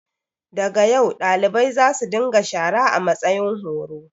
Da ga yau, dalibai za su dinga shara a matsayin horo.